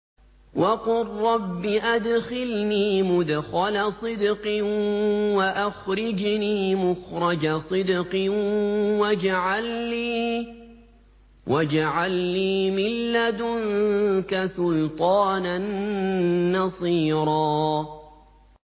وَقُل رَّبِّ أَدْخِلْنِي مُدْخَلَ صِدْقٍ وَأَخْرِجْنِي مُخْرَجَ صِدْقٍ وَاجْعَل لِّي مِن لَّدُنكَ سُلْطَانًا نَّصِيرًا